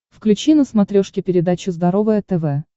включи на смотрешке передачу здоровое тв